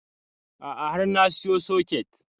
A'a har na siyo soket